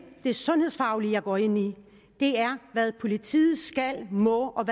det sundhedsfaglige jeg her går ind i det er hvad politiet skal og må og